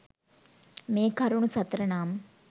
මේකරුණු සතර නම්